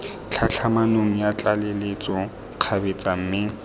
tlhatlhamanong ya tlaleletso kgabetsa mme